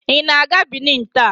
Ị na-aga Benin taa?